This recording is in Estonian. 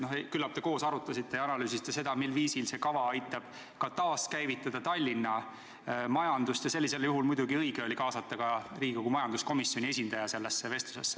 Küllap te koos arutasite ja analüüsisite, millisel viisil aitab see kava taaskäivitada Tallinna majandust, ning sellisel juhul oli muidugi õige kaasata vestlusesse ka Riigikogu majanduskomisjoni esindaja.